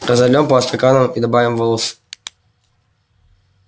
разольём по стаканам и добавим волос